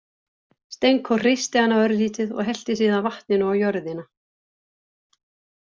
Stenko hristi hana örlítið og hellti síðan vatninu á jörðina.